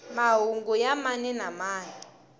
mahungu ya mani na mani